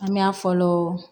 An me na fɔlɔ